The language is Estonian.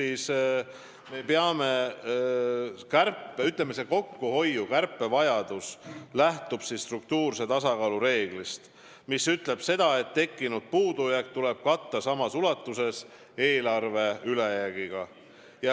See kokkuhoiu, kärpe vajadus lähtub struktuurse tasakaalu reeglist, mis ütleb seda, et tekkinud puudujääk tuleb katta samas ulatuses eelarve ülejäägiga.